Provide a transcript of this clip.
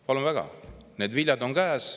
" Palun väga, need viljad on käes.